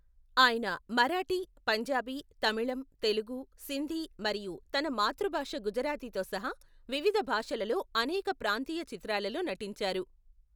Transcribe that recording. ఆయన మరాఠీ, పంజాబీ, తమిళం, తెలుగు, సింధీ మరియు తన మాతృభాష గుజరాతీతో సహా వివిధ భాషలలో అనేక ప్రాంతీయ చిత్రాలలో నటించారు.